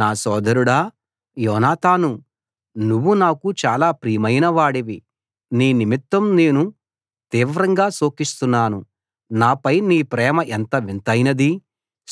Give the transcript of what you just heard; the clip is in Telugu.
నా సోదరుడా యోనాతానూ నువ్వు నాకు చాలా ప్రియమైన వాడివి నీ నిమిత్తం నేను తీవ్రంగా శోకిస్తున్నాను నాపై నీ ప్రేమ ఎంతో వింతైనది